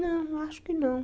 Não, acho que não.